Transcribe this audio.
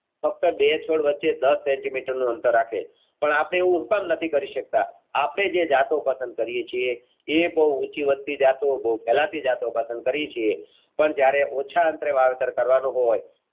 ફક્ત બે છોડ વચ્ચે દસ Centimeter નું અંતર રાખે છે પણ આપણે એવું શું કામ નથી કરી સકતા આપણે જે જતો પસંદ કરીયે છીએ એ બવ ઉંચી વાતની જતો બવ કલાપી જતો પસંદ કરી છે પણ જયારે ઓછા અંતર વાવેતર કરવાનું